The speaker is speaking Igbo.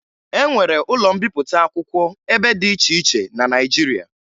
E nwere ụlọ mbipụta akwụkwọ ebe dị iche iche na Naịjirịa